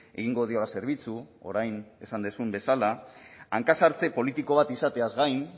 egingo diola zerbitzu orain esan duzun bezala hanka sartze politiko bat izateaz gain